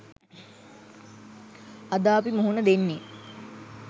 අද අපි මුහුණ දෙන්නෙ